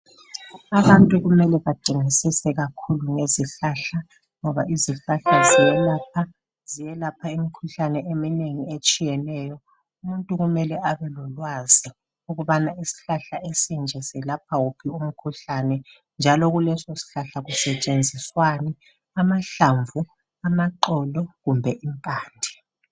abantu kumele bedingisise kakhulu ngezihlahla ngoba izihlahla zelapha, zelapha imikhuhlane eminengi etshiyeneyo umuntu kumele abelolwazi ukubana isihlahla esinje silapha kuphi umkhuhlane njalo kuleso sihlahla kusetshenziswani amaxolo, amahlamvu kumbe impande